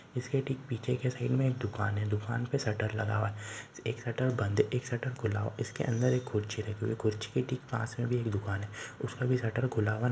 इसके ठीक पीछे के साइड में एक दुकान है दुकान में सटर लगा हुआ एक सटर बंद है एक सटर खुला हुआ इसके अन्दर एक खुर्ची रखी हुई है खुर्ची के ठीक पास में भी एक दुकान है। उसमे भी सटर खुला हुआ नही--